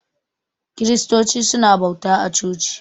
Kiristoci suna bauta a coci.